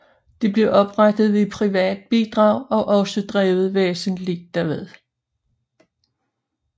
Det blev oprettet ved private bidrag og også drevet væsentligst derved